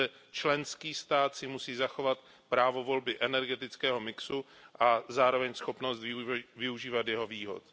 Pouze členský stát si musí zachovat právo volby energetického mixu a zároveň schopnost využívat jeho výhod.